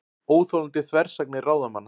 Óþolandi þversagnir ráðamanna